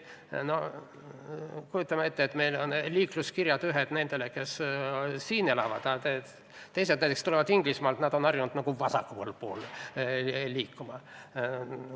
No kujutame ette, et meil on üks liikluseeskiri nendele, kes siin elavad, ja teine neile, kes näiteks tulevad Inglismaalt ja on harjunud vasakpoolse liiklusega.